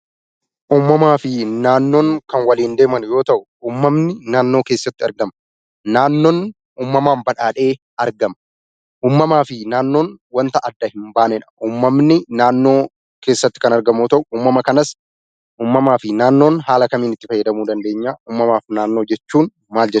Uumamaa fi naannoon kan waliin deeman yoo ta'u; uumamni naannoo keessatti argama. Naannoon uumamaan badhaadhee argama. Uumamaa fi naannoon wanta addaan hin baaneedha. Uumamni naannoo keessatti kan argamu yoo ta'u; uumama kanas uumamaa fi naannoo haala kamiin itti fayyadamuu dandeenya? Uumamaa fi naannoo jechuun maal jechuu dha?